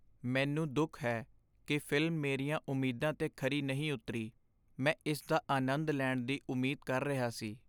ਮੈਨੂੰ ਦੁੱਖ ਹੈ ਕਿ ਫ਼ਿਲਮ ਮੇਰੀਆਂ ਉਮੀਦਾਂ 'ਤੇ ਖਰੀ ਨਹੀਂ ਉਤਰੀ। ਮੈਂ ਇਸ ਦਾ ਅਨੰਦ ਲੈਣ ਦੀ ਉਮੀਦ ਕਰ ਰਿਹਾ ਸੀ।